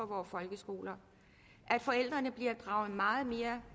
vore folkeskoler at forældrene bliver draget meget mere